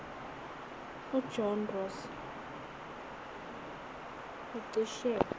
ujohn ross ucishe